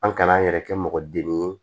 An kana an yɛrɛ kɛ mɔgɔ den ye